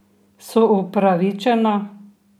So upravičena?